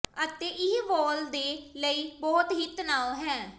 ਅਤੇ ਇਹ ਵਾਲ ਦੇ ਲਈ ਬਹੁਤ ਹੀ ਤਣਾਅ ਹੈ